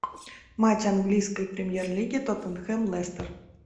матч английской премьер лиги тоттенхэм лестер